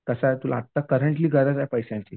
कसं आहे तुला आत्ता करंटली गरज आहे पैश्याची.